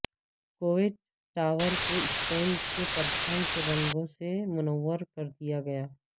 Kuwait tower کو Spain کے پرچم کے رنگوں سے منور کردیا گیا